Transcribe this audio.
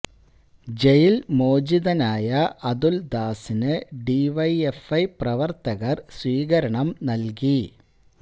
ജയില് മോചിതനായ അതുല്ദാസിന് D Y F I പ്രവര്ത്തകര് സ്വീകരണം നൽകി